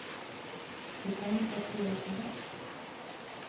De kommer för att kräva sin rätt.